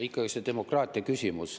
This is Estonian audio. Ikkagi see demokraatia küsimus.